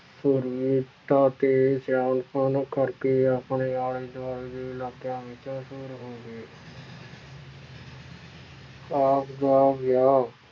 ਸੂਰਬੀਰਤਾ ਤੇ ਸਿਆਣਪੁਣ ਕਰਕੇ ਆਪਣੇ ਆਲੇ ਦੁਆਲੇ ਦੇ ਇਲਾਕਿਆਂ ਵਿੱਚ ਮਸ਼ਹੂਰ ਹੋ ਗਏ ਆਪ ਦਾ ਵਿਆਹ